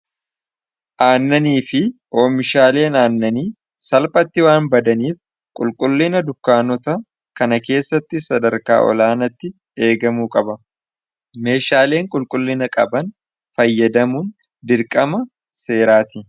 aannanii fi oomishaaleen aannanii salphatti waan badaniif qulqullina dukkaanota kana keessatti sadarkaa'olaanatti eegamuu qaba meeshaaleen qulqullina qaban fayyadamuun dirqama seeraati